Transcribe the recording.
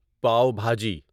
pav bhaji